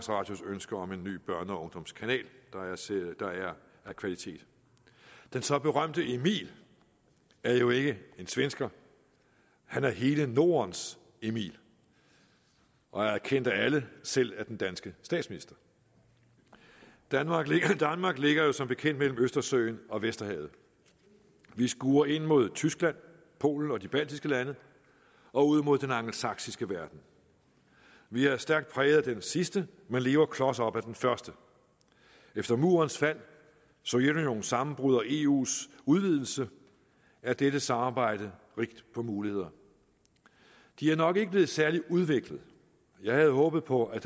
radios ønske om en ny børne og ungdomskanal der er af kvalitet den så berømte emil er jo ikke svensker han er hele nordens emil og er kendt af alle selv af den danske statsminister danmark ligger jo som bekendt mellem østersøen og vesterhavet vi skuer ind mod tyskland polen og de baltiske lande og ud mod den angelsaksiske verden vi er stærkt præget af den sidste man lever klos op ad den første efter murens fald sovjetunionens sammenbrud og eus udvidelse er dette samarbejde rigt på muligheder de er nok ikke blevet særlig udviklet jeg havde håbet på at